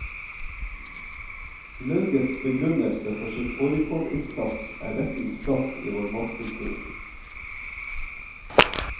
Laugets begrunnelse for sin fårikålinnsats er rettens plass i vår matkultur.